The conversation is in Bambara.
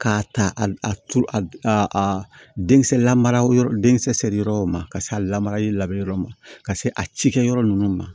K'a ta a turu a den kisɛ lamara yɔrɔ den kisɛ seri yɔrɔw ma ka se a lamarali la yɔrɔ ma ka se a cikɛyɔrɔ ninnu ma